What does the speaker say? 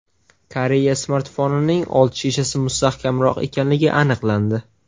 Koreya smartfonining old shishasi mustahkamroq ekanligi aniqlandi.